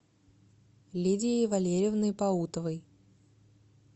лидией валерьевной паутовой